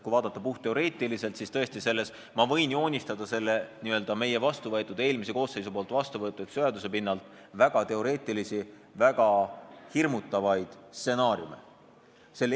Kui vaadata puhtteoreetiliselt, siis ma võin tõesti selle eelmises koosseisus vastuvõetud seaduse pinnalt joonistada väga teoreetilisi, väga hirmutavaid stsenaariume.